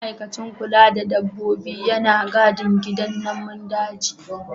Ma'aikacin kula da dabbobi yana gadin gidan namun daji.